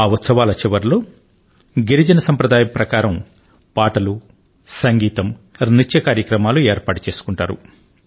ఆ ఉత్సవాల చివర్లో గిరిజన సంప్రదాయం ప్రకారం పాటలు సంగీతం నృత్య కార్యక్రమాలు ఏర్పాటు చేసుకుంటారు